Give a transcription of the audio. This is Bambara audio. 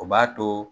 O b'a to